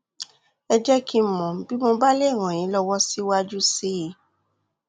ẹ jẹ kí n mọ bí mo bá lè ràn yín lọwọ síwájú sí i